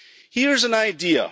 Here's an idea.